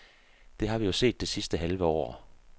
Det har vi jo set det sidste halve år.